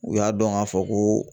U y'a dɔn k'a fɔ ko